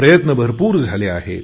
प्रयत्न भरपूर झाले आहेत